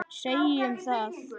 Segjum það.